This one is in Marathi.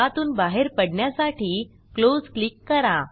यातून बाहेर पडण्यासाठी Closeक्लिक करा